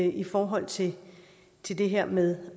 i forhold til til det her med